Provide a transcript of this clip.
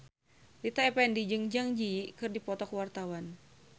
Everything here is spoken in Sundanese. Rita Effendy jeung Zang Zi Yi keur dipoto ku wartawan